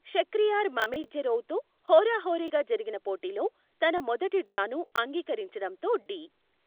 Shakhriyar Mamedyarov తో హోరా హోరీగా జరిగిన పోటీలో, తన మొదటి డ్రా ను అంగీకరించడంతో, డి.